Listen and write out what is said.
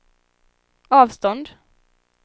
avstånd